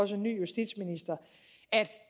som ny justitsminister at